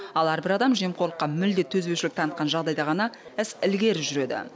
ал әрбір адам жемқорлыққа мүлде төзбеушілік танытқан жағдайда ғана іс ілгері жүреді